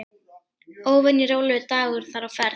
Óvenju rólegur dagur þar á ferð.